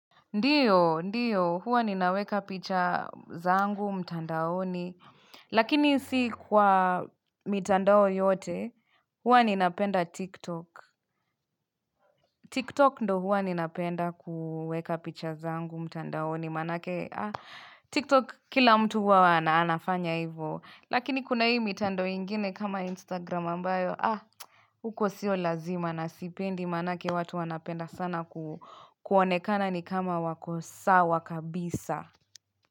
Ndiyo, ndiyo, huwa ninaweka picha zangu, mtandaoni, lakini si kwa mitandao yote, huwa ninapenda TikTok. TikTok ndo huwa ninapenda kuweka picha zangu, mtandaoni, manake, ah, TikTok kila mtu huwa wana anafanya hivyo. Lakini kuna hii mitandao ingine kama Instagram ambayo, ah, huko sio lazima na sipendi manake watu wanapenda sana kuonekana ni kama wakosawa kabisa.